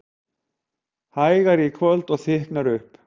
Hægari í kvöld og þykknar upp